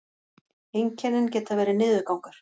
einkennin geta verið niðurgangur